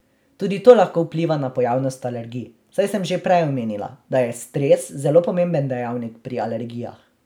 Tudi to lahko vpliva na pojavnost alergij, saj sem že prej omenila, da je stres zelo pomemben dejavnik pri alergijah.